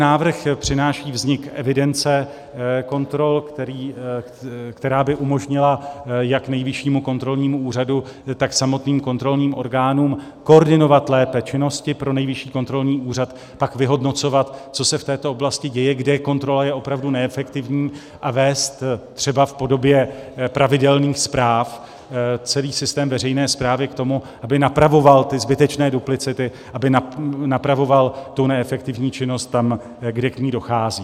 Návrh přináší vznik evidence kontrol, která by umožnila jak Nejvyššímu kontrolnímu úřadu, tak samotným kontrolním orgánům koordinovat lépe činnosti pro Nejvyšší kontrolní úřad, pak vyhodnocovat, co se v této oblasti děje, kde kontrola je opravdu neefektivní, a vést třeba v podobě pravidelných zpráv celý systém veřejné správy k tomu, aby napravoval ty zbytečné duplicity, aby napravoval tu neefektivní činnost tam, kde k ní dochází.